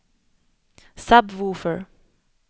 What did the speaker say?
sub-woofer